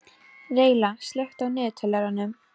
Reyla, slökktu á niðurteljaranum.